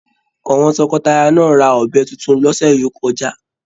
Àwọn tọkọtaya náà ra ọbẹ títún l'ọsẹ yo kọjá.